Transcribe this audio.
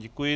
Děkuji.